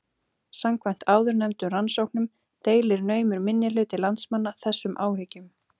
Samkvæmt áðurnefndum rannsóknum deilir naumur minnihluti landsmanna þessum áhyggjum.